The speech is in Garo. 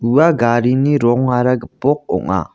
ua garini rongara gipok ong·a.